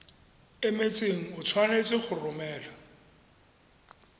emetseng o tshwanetse go romela